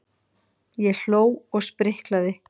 Ég hló og spriklaði.